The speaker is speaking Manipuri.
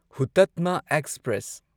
ꯍꯨꯇꯠꯃꯥ ꯑꯦꯛꯁꯄ꯭ꯔꯦꯁ